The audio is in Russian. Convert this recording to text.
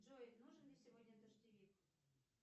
джой нужен ли сегодня дождевик